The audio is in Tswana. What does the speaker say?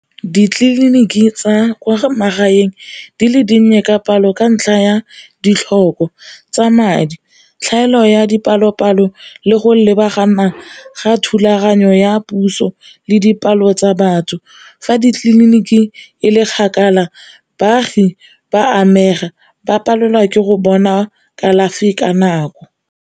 Ditleliniki tsa kwa magaeng di le dinnye ka palo ka ntlha ya ditlhoko tsa madi, tlhaelo ya dipalo-palo le go lebagana ga thulaganyo ya puso le dipalo tsa batho. Fa ditleliniki e le kgakala baagi ba amega, ba palelwa ke go bona kalafi ka nako.